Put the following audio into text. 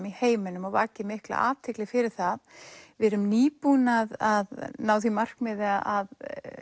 í heiminum og vakið mikla athygli fyrir það við erum nýbúin að ná því markmiði að